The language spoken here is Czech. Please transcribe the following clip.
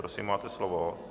Prosím, máte slovo.